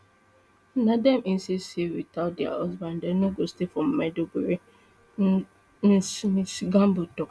na dem insist say witout dia husbands dem no go stay for maiduguri ms ms gambo tok